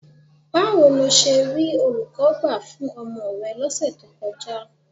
Báwo lo ṣe rí olùkọ́ gbà fún ọmọ rẹ lọ́sẹ̀ tó kọjá?